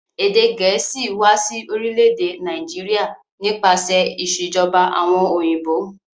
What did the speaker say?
Èdè gẹ̀ẹ̀síì wa si orílẹ̀dè Naijiria nípasẹ̀ ìsèjoba àwon òyìnbó